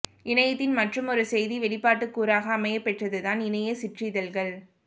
இணையத்தின் மற்றுமொரு செய்தி வெளிப்பாட்டுக் கூறாக அமையப்பெற்றது தான் இணையச் சிற்றிதழ்கள்